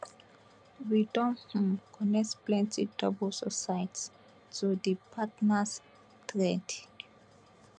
we don um connect plenti double suicides to di partners thread